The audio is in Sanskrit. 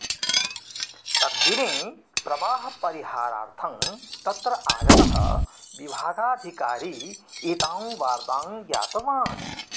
तद्दिने प्रवाहपरिहारार्थं तत्र आगतः विभागाधिकारी एतां वार्तां ज्ञातवान्